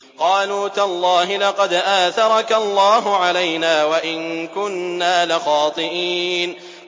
قَالُوا تَاللَّهِ لَقَدْ آثَرَكَ اللَّهُ عَلَيْنَا وَإِن كُنَّا لَخَاطِئِينَ